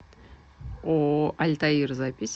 ооо альтаир запись